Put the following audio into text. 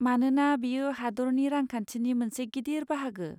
मानोना, बेयो हादोरनि रांखान्थिनि मोनसे गिदिर बाहागो।